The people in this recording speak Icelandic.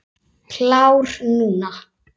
Klár núna.